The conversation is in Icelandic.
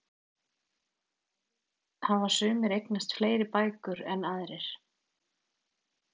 Eflaust hafa sumir eignast fleiri bækur en aðrir.